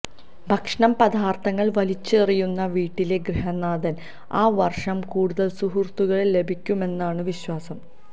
ഭക്ഷണപദാര്ഥങ്ങള് വലിച്ചെറിയുന്ന വീട്ടിലെ ഗൃഹനാഥന് ആ വര്ഷം കൂടുതല് സുഹൃത്തുക്കളെ ലഭിക്കുമെന്നാണ് വിശ്വാസം